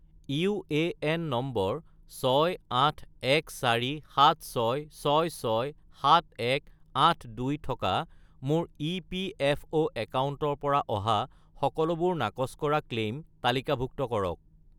UAN number 681476667182 থকা মোৰ EPFO একাউণ্টৰ পৰা অহা সকলোবোৰ নাকচ কৰা ক্লেইম তালিকাভুক্ত কৰক